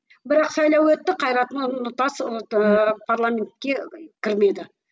бірақ сайлау өтті қайрат нұртас ыыы парламентке кірмеді